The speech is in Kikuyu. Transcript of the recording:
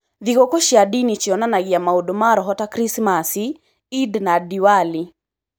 Thingũkũ cia ndini cionanagia maundũ ma roho ta Krisimaci, Eid na Diwali.